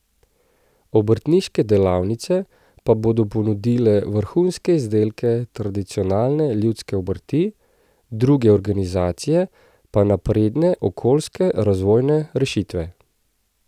Obrtniške delavnice pa bodo ponudile vrhunske izdelke tradicionalne ljudske obrti, druge organizacije pa napredne okoljske razvojne rešitve.